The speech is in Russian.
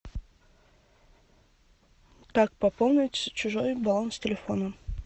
как пополнить чужой баланс телефона